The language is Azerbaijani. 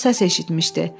O səs eşitmişdi.